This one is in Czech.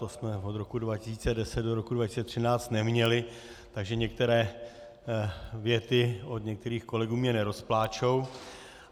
To jsme od roku 2010 do roku 2013 neměli, takže některé věty od některých kolegů mě nerozpláčou.